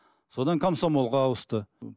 содан комсомолға ауысты